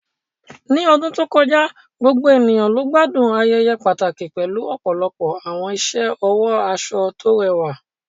Ní ọdún tó kọjá, gbogbo ènìyàn ló gbádùn ayẹyẹ pàtàkì pẹ̀lú ọ̀pọ̀lọpọ̀ àwọn iṣẹ́ ọwọ́ aṣọ tó rẹwà